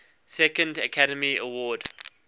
second academy award